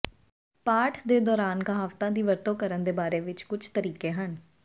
ਪਾਠ ਦੇ ਦੌਰਾਨ ਕਹਾਵਤਾਂ ਦੀ ਵਰਤੋਂ ਕਰਨ ਦੇ ਬਾਰੇ ਵਿੱਚ ਕੁਝ ਤਰੀਕੇ ਹਨ